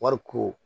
Wari ko